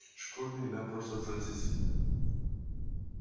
школьная еда просто отвратительна